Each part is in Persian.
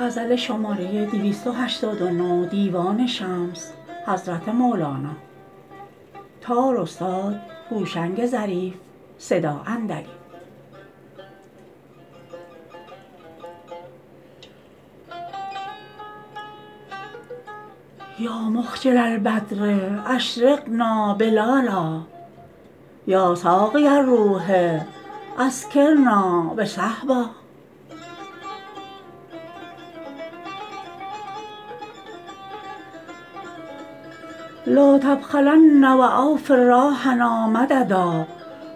یا مخجل البدر اشرقنا بلالا یا ساقی الروح اسکرنا بصهبا لا تبخلن و اوفر راحنا مددا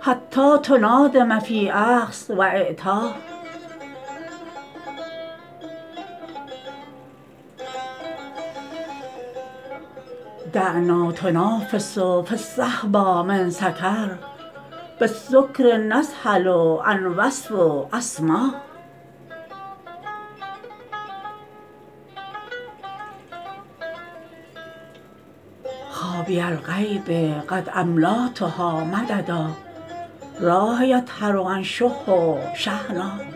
حتی تنادم فی اخذ و اعطا دعنا ینافس فی الصهباء من سکر بالسکر یذهل عن وصف و اسما خوابی الغیب قد املاتها مددا راحا یطهر عن شح و شحنا